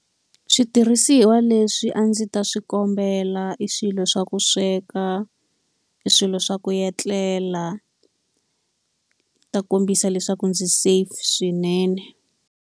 Switirhisiwa leswi a ndzi ta swi kombela i swilo swa ku sweka, i swilo swa ku etlela, kombisa leswaku ndzi safe swinene.